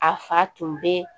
A fa tun be